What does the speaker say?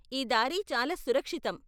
ఈ దారి చాలా సురక్షితం.